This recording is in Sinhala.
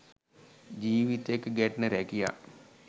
ජිවිත එක්ක ගැටෙන රැකියා.